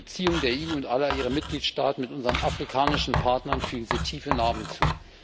Den Beziehungen der EU und aller ihrer Mitgliedstaaten mit unseren afrikanischen Partnern fügt es tiefe Narben zu.